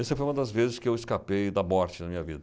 Essa foi uma das vezes que eu escapei da morte na minha vida.